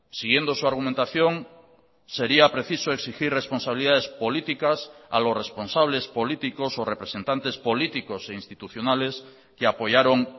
siguiendo su argumentación sería preciso exigir responsabilidades políticas a los responsables políticos o representantes políticos e institucionales que apoyaron